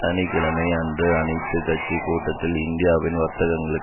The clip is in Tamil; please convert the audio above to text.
சனி கிழமை அன்று அனைத்து கட்சி கூட்டத்தில் இந்தியாவின் வார்த்தைகளும்